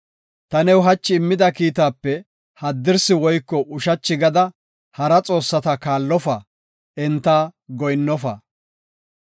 Ta new hachi immida kiitaape haddirsi woyko ushachi gada, hara xoossata kaallofa; enta goyinnofa.